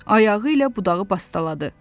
Ayağı ilə budağı bastaladı.